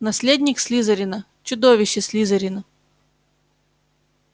наследник слизерина чудовище слизерина